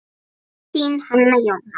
Þín, Hanna Jóna.